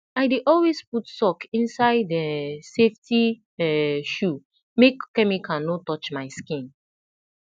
i dey always put sock inside um safety um shoe make chemical no touch my skin